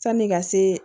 Sanni ka se